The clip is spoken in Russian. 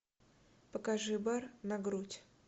покажи бар на грудь